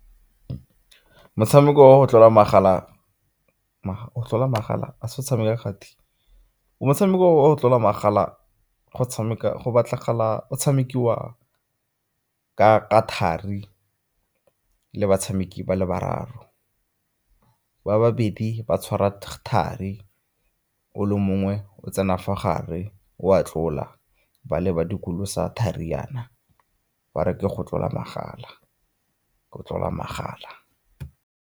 Motshameko wa go tlola magala, go tlola magala a se tshameka kgati? Motshameko wa go tlola magala go tshamekiwa ka thari le batshameki ba le bararo. Ba babedi ba tshwara thari, o le mongwe o tsena fa gare o a tlola, ba le ba dikolosa thari yaana ba re ke go tlola magala, go tlola magala.